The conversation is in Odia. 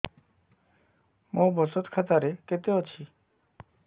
ମୋ ବଚତ ଖାତା ରେ କେତେ ଅଛି